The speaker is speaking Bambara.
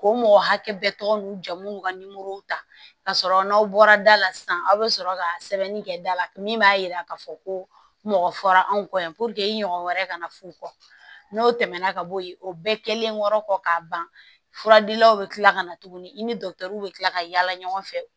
K'o mɔgɔ hakɛ bɛɛ tɔgɔ n'u ja munnu n'u ka ta ka sɔrɔ n'aw bɔra da la sisan aw be sɔrɔ ka sɛbɛnni kɛ da la min b'a yira k'a fɔ ko mɔgɔ fɔra anw kɔ yan i ɲɔgɔn wɛrɛ kana f'u kɔ n'o tɛmɛna ka bɔ yen o bɛɛ kɛlen kɔ k'a ban fura dilaw bɛ tila ka na tuguni i ni dɔkitɛriw bɛ kila ka yala ɲɔgɔn fɛ